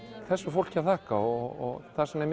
þessu fólki að þakka og þess vegna